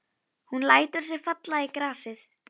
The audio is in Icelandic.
Hildibrandur, hvað er á dagatalinu mínu í dag?